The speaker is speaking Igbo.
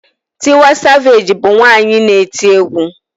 Tiwa savage bu nwanyi na-eti egwu